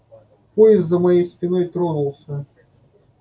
поезд за моей спиной тронулся